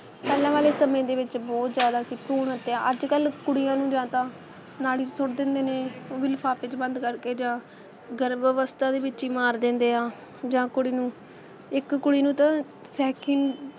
ਪਹਿਲਾਂ ਵਾਲੇ ਸਮੇ ਦੇ ਵਿੱਚ ਬਹੁਤ ਜ਼ਿਆਦਾ ਸੀ ਭਰੂਣ ਹੱਤਿਆ ਅੱਜ-ਕੱਲ੍ਹ ਕੁੜੀਆਂ ਨੂੰ ਜਾਂ ਤਾਂ ਨਾਲੀ 'ਚ ਸੁੱਟ ਦਿੰਦੇ ਨੇ ਉਹ ਵੀ ਲਿਫਾਫੇ ਚ ਬੰਦ ਕਰਕੇ ਜਾਂ ਗਰਭ ਅਵਸਥਾ ਦੇ ਵਿਚ ਈ ਮਾਰ ਦਿੰਦੇ ਆ ਜਾਂ ਕੁੜੀ ਨੂੰ ਇਕ ਕੁੜੀ ਨੂੰ ਤਾਂ secon~